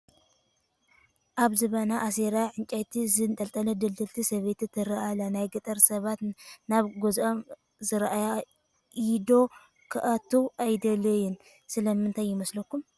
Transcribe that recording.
ኣብ ዝባና እሳራ ዕንጨይቲ ዘንጠልጠለት ድልድልቲ ሰበይቲ ትርአ ኣላ፡፡ ናይ ገጠር ሰባት ናብ ገዝኦም ዝራይ ኢዶ ክኣትዉ ኣይደልዩን፡፡ ስለምንታይ ይመስለኩም?